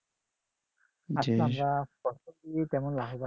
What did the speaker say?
আমরা ফসল দিয়ে তেমন লাভবান না